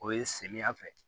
O ye samiyɛ fɛ